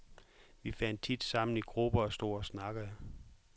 Vi fandt tit sammen i grupper og stod og snakkede .